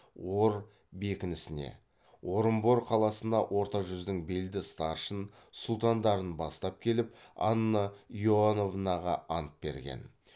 ор бекінісіне орынбор қаласына орта жүздің белді старшын сұлтандарын бастап келіп анна иоановнаға ант берген